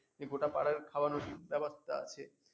এই গোটা পাড়ার খাওয়ানোর ব্যাপারটা আছে